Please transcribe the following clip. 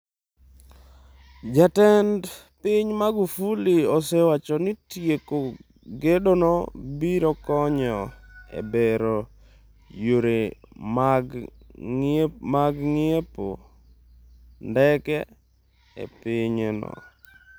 Jatend pinyno Magufuli osewacho ni tieko gedono biro konyo e bero yore mag ng'iepo ndege e pinyno.